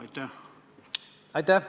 Aitäh!